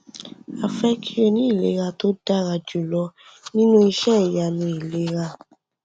a fẹ kí o ní ìlera tó dára jù lọ nínú iṣẹ ìyanu ìlera